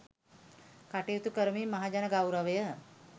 කටයුතු කරමින් මහජන ගෞරවය